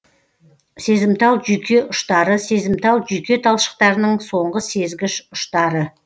сезімтал жүйке ұштары сезімтал жүйке талшықтарының соңғы сезгіш ұштары